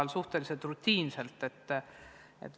See toimub suhteliselt rutiinselt.